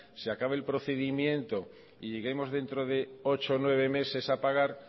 se acabe el procedimiento y lleguemos dentro de ocho nueve meses a pagar